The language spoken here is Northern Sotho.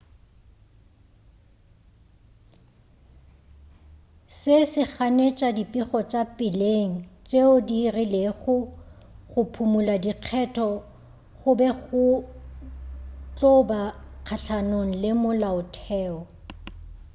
se se ganetša dipego tša peleng tšeo di rilego go phumula dikgetho go be go tlo ba kgahlanong le molaotheo